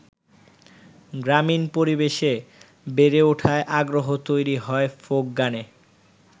গ্রামীণ পরিবেশে বেড়ে ওঠায় আগ্রহ তৈরি হয় ফোক গানে।